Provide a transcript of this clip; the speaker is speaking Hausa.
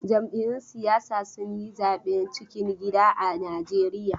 Jam'iyyun siyasa sun yi zaben cikin gida a Najeriya.